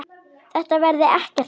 Þetta verði ekkert mál.